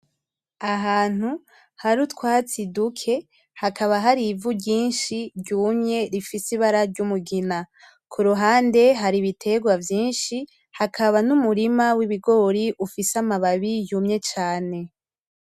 Ahantu hari utwatsi duke hakaba hari ivu ryinshi ryumye rifise ibara ryumugina, kuruhande hari ibiterwa vyinshi hakaba n’umurima w’ibigori ufise amababi yumye cane .